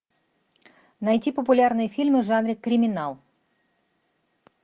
найти популярные фильмы в жанре криминал